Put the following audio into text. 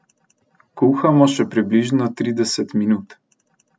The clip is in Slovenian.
Kuhamo še približno trideset minut.